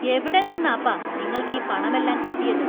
എവിടെ നിന്നാപ്പാ നിങ്ങൾക്ക് ഈ പണമെല്ലാം കിട്ടിയത് ?